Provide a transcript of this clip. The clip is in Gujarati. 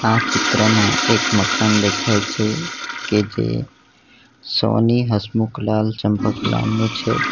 આ ચિત્રમાં એક મકાન દેખાય છે કે જે સોની હસમુખ લાલ ચંપકલાલનું છે.